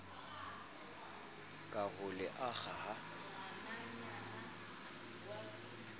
ka ho le akga ha